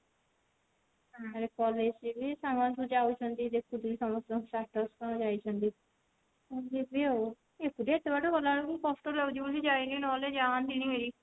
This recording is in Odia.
college ରେ ବି ସାଙ୍ଗ ମାନେ ସବୁ ଯାଉଛନ୍ତି ଦେଖୁଥିବୁ ସମସ୍ତଙ୍କ status କଣ ଯାଇଛନ୍ତି ଯିବି ଆଉ ଏକୁଟିଆ ଏତେ ବାଟ ଗଲା ବେଳକୁ କଷ୍ଟ ଲାଗୁଛି ଯାଉନି ନହେଲେ ଯାଆନ୍ତିଣୀ ହେରି